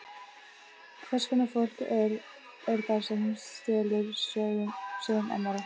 Hvers konar fólk er það sem stelur sögum annarra?